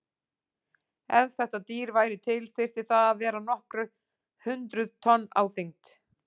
Ef þetta dýr væri til þyrfti það að vera nokkur hundruð tonn á þyngd.